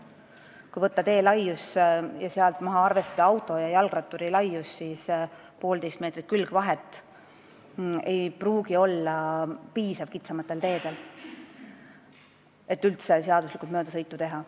Kui võtta tee laius ning arvestada sealt maha auto ja jalgratturi laius, siis ei pruugi kitsamatel teedel piisata poolteise meetri pikkusest külgvahest, et üldse seaduslikult möödasõitu teha.